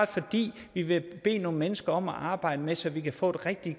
fordi vi vil bede nogle mennesker om at arbejde med det så vi kan få et rigtig